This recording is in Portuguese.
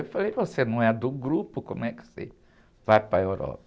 Eu falei, você não é do grupo, como é que você vai para a Europa?